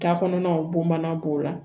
Takɔnɔnaw b'o mana b'o la